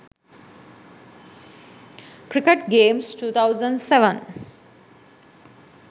cricket games 2007